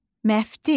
Məftil.